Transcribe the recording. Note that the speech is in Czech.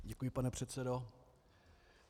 Děkuji, pane předsedo.